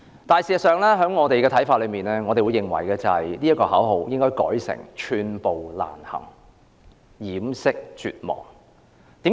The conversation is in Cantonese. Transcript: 但是，依我們看來，口號應該改為"寸步難行掩飾絕望"。